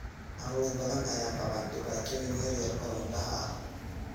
Carruur badan ayaa qaba dhibaatooyin yaryar oo indhaha ah.